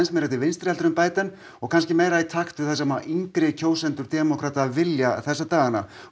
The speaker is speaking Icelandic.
meira til vinstri en og kannski meira í takt við það sem yngri kjósendur demókrata vilja þessa dagana